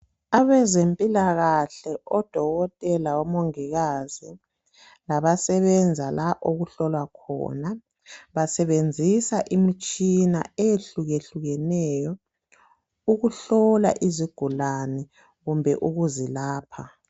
Abezempilakahle oDokotela, oMongikazi labasebenza la okuhlolwa khona basebenzisa imitshina eyehlukehlukeneyo ukuhlola izigulane kumbe ukuzilapha.